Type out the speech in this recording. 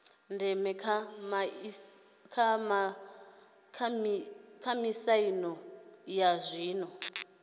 ndeme kha miaisano ya zwiko